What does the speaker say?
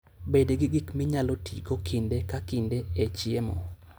Bed gi gik minyalo tigo kinde ka kinde e chiemo.